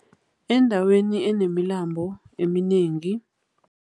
Endaweni enemilambo eminengi.